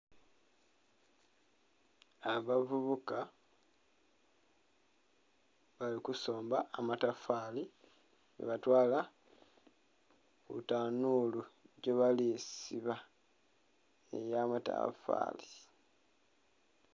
Abavubuka bali kusomba amatafaali ghebatwala ku tanuulu gyebali siba ey'amatafaali